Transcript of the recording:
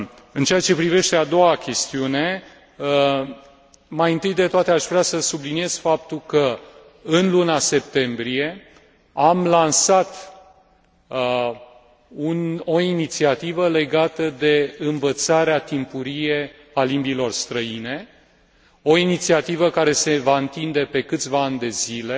În ceea ce privește a doua chestiune, mai întâi de toate aș vrea să subliniez faptul că, în luna septembrie, am lansat o inițiativă legată de învățarea timpurie a limbilor străine, o inițiativă care se va întinde pe câțiva ani de zile